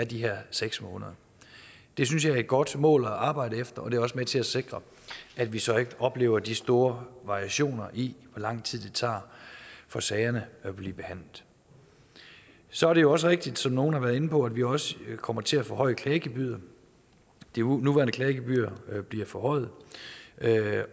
de her seks måneder det synes jeg er et godt mål at arbejde efter og det er også med til at sikre at vi så ikke oplever de store variationer i hvor lang tid det tager for sagerne at blive behandlet så er det jo også rigtigt som nogle har været inde på at vi også kommer til at forhøje klagegebyret det nuværende klagegebyr bliver forhøjet